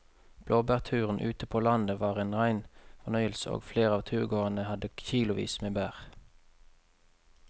Blåbærturen ute på landet var en rein fornøyelse og flere av turgåerene hadde kilosvis med bær.